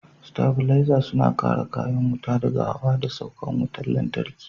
Sitabilaza suna kare kayan wuta daga hawa da saukan wutar lantarki.